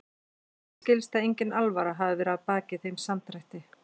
En mér skilst að engin alvara hafi verið að baki þeim samdrætti.